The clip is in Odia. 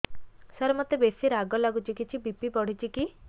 ସାର ମୋତେ ବେସି ରାଗ ଲାଗୁଚି କିଛି ବି.ପି ବଢ଼ିଚି କି